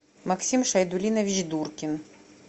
максим шайдулинович дуркин